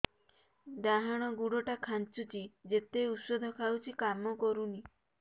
ଡାହାଣ ଗୁଡ଼ ଟା ଖାନ୍ଚୁଚି ଯେତେ ଉଷ୍ଧ ଖାଉଛି କାମ କରୁନି